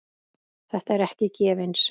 Þetta er ekki gefins.